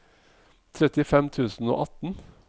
trettifem tusen og atten